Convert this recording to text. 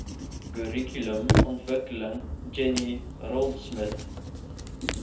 kurrikulumontwikkeling jenny raultsmith